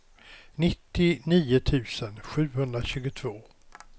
nittionio tusen sjuhundratjugotvå